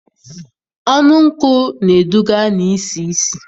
Ọnụ nkụ na-eduga na isi ísì